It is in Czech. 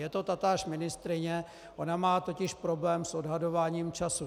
Je to tatáž ministryně, ona má totiž problém s odhadováním času.